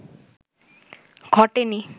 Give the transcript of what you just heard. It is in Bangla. ঘটেনি